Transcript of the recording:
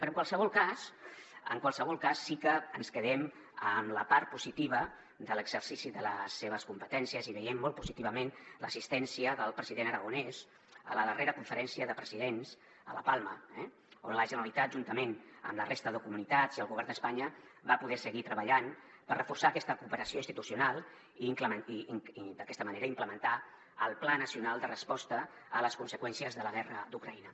però en qualsevol cas en qualsevol cas sí que ens quedem amb la part po·sitiva de l’exercici de les seves competències i veiem molt positivament l’assistèn·cia del president aragonès a la darrera conferència de presidents a la palma on la generalitat juntament amb la resta de comunitats i el govern d’espanya va poder seguir treballant per reforçar aquesta cooperació institucional i d’aquesta manera implementar el pla nacional de resposta a les conseqüències de la guerra d’ucraïna